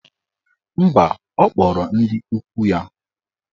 Mba, ọ kpọrọ ndị ikwu ya.